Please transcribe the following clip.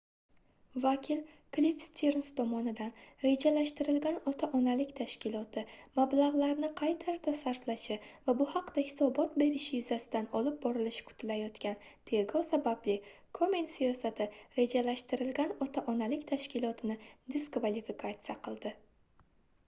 vakil kliff stirns tomonidan rejalashtirilgan ota-onalik tashkiloti mablagʻlarni qay tarzda sarflashi va bu haqda hisobot berishi yuzasidan olib borilishi kutilayotgan tergov sababli komen siyosati rejalashtirilgan ota-onalik tashkilotini diskvalifikatsiya qildi